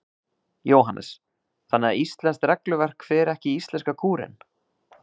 Jóhannes: Þannig að íslenskt regluverk fer ekki í íslenska kúrinn?